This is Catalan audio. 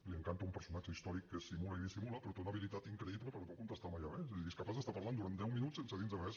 li encanta un personatge històric que simula i dissimula però té una habilitat increïble per no contestar mai a res és a dir és capaç d’estar parlant durant deu minuts sense dir nos res